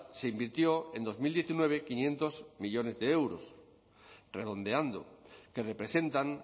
se invirtió en dos mil diecinueve quinientos millónes de euros redondeando que representan